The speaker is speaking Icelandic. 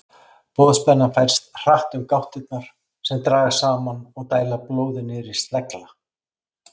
Boðspennan færist hratt um gáttirnar sem dragast saman og dæla blóði niður í slegla.